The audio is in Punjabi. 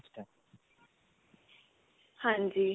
ਹਾਂਜੀ.